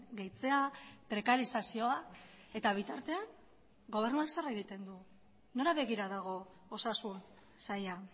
gehitzea prekarizazioa eta bitartean gobernuak zer egiten du nora begira dago osasun saila